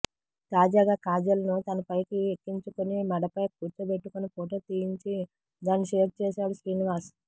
తాజాగా కాజల్ ను తన పైకి ఎక్కించుకుని మెడపై కూర్చోబెట్టుకుని ఫొటో తీయించి దాన్ని షేర్ చేశాడు శ్రీనివాస్